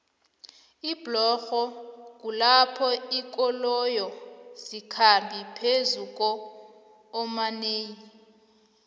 iblorho kulapho linkoloyo zikhamba phezukuomanei